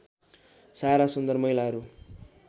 सारा सुन्दर महिलाहरू